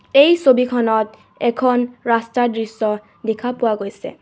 এই ছবিখনত এখন ৰাস্তাৰ দৃশ্য দেখা পোৱা গৈছে.